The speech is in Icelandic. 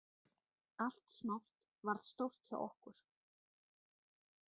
Allt smátt varð stórt hjá okkur.